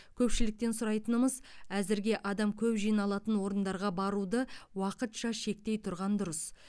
көпшіліктен сұрайтынымыз әзірге адам көп жиналатын орындарға баруды уақытша шектей тұрған дұрыс